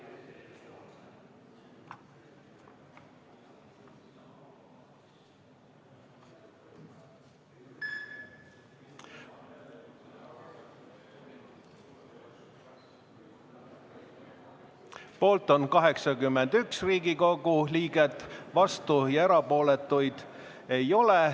Hääletustulemused Poolt on 81 Riigikogu liiget, vastuolijaid ega erapooletuid ei ole.